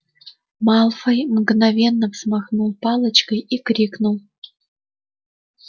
малфой мгновенно взмахнул палочкой и крикнул